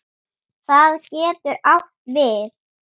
Það getur átt við